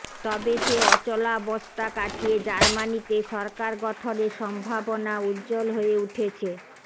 তবে সে অচলাবস্থা কাটিয়ে জার্মানিতে সরকার গঠনের সম্ভাবনা উজ্জ্বল হয়ে উঠেছে